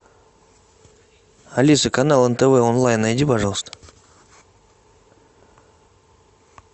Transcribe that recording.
алиса канал нтв онлайн найди пожалуйста